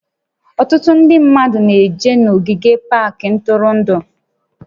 Ọtụtụ ndị mmadụ na-eje n'ogige pak ntụrụndụ